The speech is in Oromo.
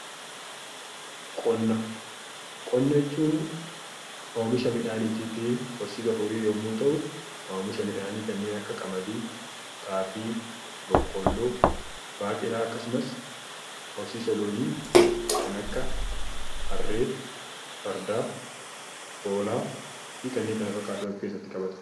Qonna jechuun oomisha midhaanii fi horsiisa horii , oomisha midhaanii kan akka xaafii, boqqoolloo, baaqelaa akkasumas horsiisa loonii kan akka harree, farda , hoolaa fi kanneen kana fakkaatan of keessatti qabata.